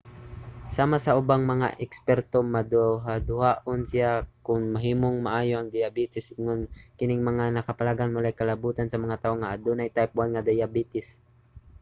sama sa ubang mga eksperto maduhaduhaon siya kon mahimong maayo ang diyabetes ingon nga kining mga nakaplagan walay kalabutan sa mga tawo nga adunay type 1 nga diabetes